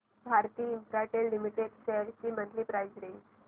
Bharti Infratel limited shares ची monthly price range